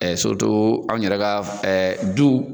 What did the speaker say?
Ɛ an yɛrɛ ka du.